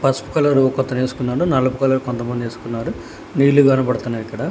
పసుపు కలర్ ఒకతనేసుకున్నాడు నలుపు కలర్ కొంతమంది ఏసుకున్నారు నీళ్లు కనబడుతున్నాయ్ ఇక్కడ